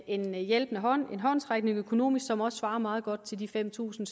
en hjælpende hånd en håndsrækning økonomisk som også svarer meget godt til de fem tusind